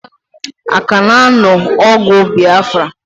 Aka na anu ogu Biafra?